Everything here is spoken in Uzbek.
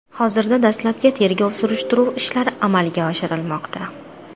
Hozirda dastlabki tergov-surishtiruv ishlari amalga oshirilmoqda.